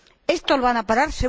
¿Esto lo van a parar?